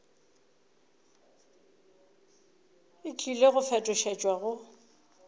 e tlile go fetošetšwa go